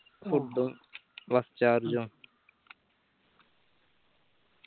food ഉം bus charge ഉം